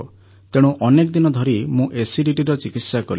ତେଣୁ ଅନେକ ଦିନ ଧରି ମୁଁ ଏସିଡିଟିର ଚିକିତ୍ସା କଲି